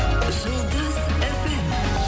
жұлдыз фм